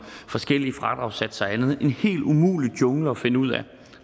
forskellige fradragssatser og andet en helt umulig jungle at finde ud af